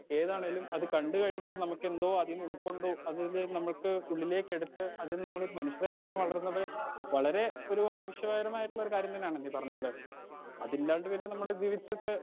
ഏതാണേലും അത് കണ്ട് കഴിഞ്ഞിട്ട് നമ്മുക്കെന്തോ അതിന്ന് ഉൾക്കൊണ്ടു അതിലെ നമ്മുക്ക് ഉള്ളിലേക്കെടുത്ത് അതില് നമ്മളൊരു മനുഷ്യരായിട്ട് തന്നെ വളരുന്നത് വളരെ ഒരു ആവശ്യപെരമായിട്ടുള്ള കാര്യം തന്നെയാണ് ഈ പറഞ്ഞ പോലെന്നെ അതില്ലാണ്ട് പിന്നെ നമ്മൾ ജീവിച്ചിട്ട്